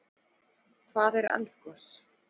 Hvað er eldgos?